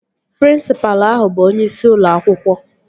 Prịnsịpalụ ahụ bụ onyeisi ụlọ akwụkwọ